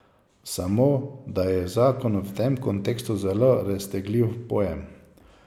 Samo, da je zakon v tem kontekstu zelo raztegljiv pojem.